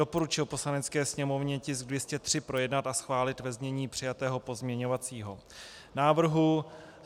Doporučil Poslanecké sněmovně tisk 203 projednat a schválit ve znění přijatého pozměňovacího návrhu.